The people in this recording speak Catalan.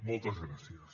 moltes gràcies